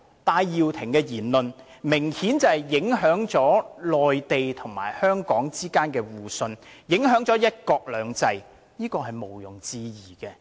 戴耀廷的言論明顯影響了內地與香港之間的互信，影響了"一國兩制"，這是毋容置疑的。